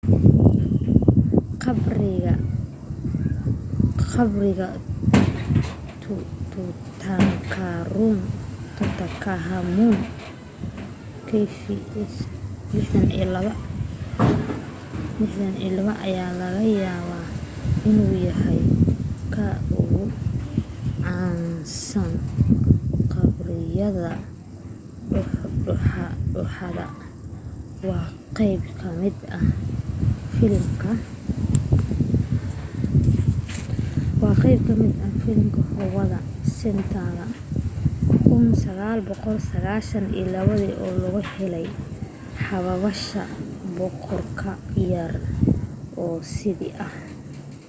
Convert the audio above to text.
qabriga tutankhamun kv62. kv62 ayaa laga yaabaa inuu yahay ka ugu caansan qabriyada dooxada waa qayb ka mid ah filimka howard carter's 1922 ee lagu helay xabaasha boqorka yar oo sidiisii ah